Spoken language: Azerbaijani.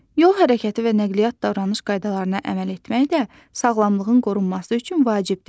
Yol hərəkəti və nəqliyyat davranış qaydalarına əməl etmək də sağlamlığın qorunması üçün vacibdir.